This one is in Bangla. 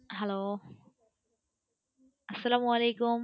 Hello আস্সালামলীকুম।